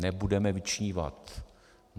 Nebudeme vyčnívat.